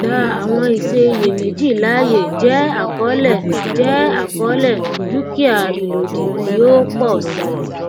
gbà àwọn ìṣe iyèméjì láàyè jẹ àkọọlẹ jẹ àkọọlẹ dúkìá ìlòdì tí ó pọ sí i